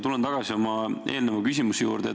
Tulen tagasi oma eelneva küsimuse juurde.